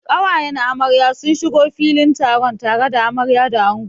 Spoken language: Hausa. Ƙawayen amarya sun shigo filin taron tare da amarya da ango.